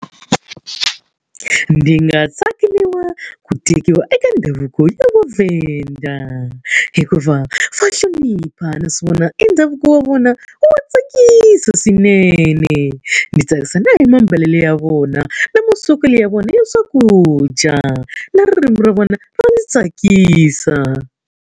Ndzi nga tsakeriwa ku tekiwa eka ndhavuko ya vaVhenda. Hikuva va hlonipha naswona e ndhavuko wa vona wa tsakisa swinene. Ndzi tsakisa na hi mambalelo ya vona, na maswekelo ya vona ya swakudya, na ririmi ra vona ra ndzi tsakisa.